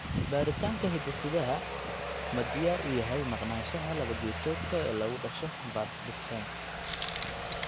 Baaritaanka hidde-sidaha ma diyaar u yahay maqnaanshaha laba-geesoodka ah ee lagu dhasho vas deferens (CBAVD)?